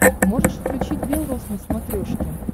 можешь включить бел роз на смотрешке